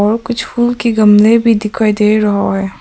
कुछ फूल के गमले भी दिखाई दे रहा है।